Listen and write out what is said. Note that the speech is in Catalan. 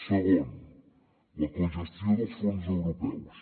segon la cogestió dels fons europeus